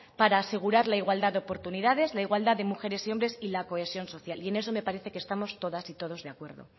para asegurar la igualdad de oportunidades la igualdad de mujeres y hombres y la cohesión social y en eso me parece que estamos todas y todos de acuerdo